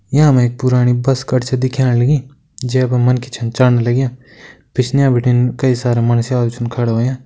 यामा एक पुराणी बस कर छ दिखेण लगीं जै पर मन्खि छन चण लग्यां पिछने बिटिन कई सारा मंडस्यालु छन खड़ा होयां।